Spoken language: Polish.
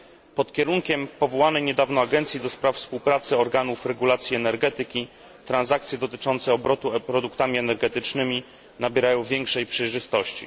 Pod kierunkiem niedawno powołanej Agencji do spraw Współpracy Organów Regulacji Energetyki transakcje dotyczące obrotu produktami energetycznymi nabierają większej przejrzystości.